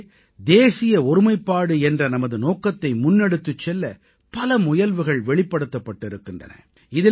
இதிலே தேசிய ஒருமைப்பாடு என்ற நமது நோக்கத்தை முன்னெடுத்துச் செல்ல பல முயல்வுகள் வெளிப்படுத்தப்பட்டு இருக்கின்றன